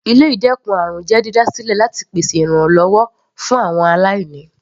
Ilé ìdẹ́kun àrùn jẹ́ dídá sílẹ láti pèsè ìrànwọ́ fún àwọn aláìní.